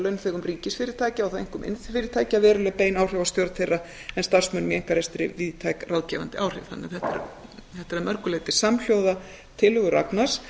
launþegum ríkisfyrirtækja og þá einkum iðnfyrirtækja veruleg bein áhrif á stjórn þeirra en starfsmönnum í einkarekstri víðtæk ráðgefandi áhrif þetta er því að mörgu leyti samhljóða tillögu ragnars